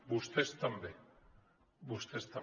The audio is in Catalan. vostès també vostès també